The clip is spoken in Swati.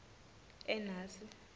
enasi